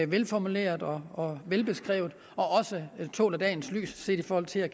velformulerede og velbeskrevede og også tåler dagens lys i forhold til at